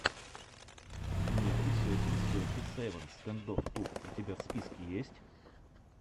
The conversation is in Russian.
ники сетин сети севен стэндофф ту у тебя в списке есть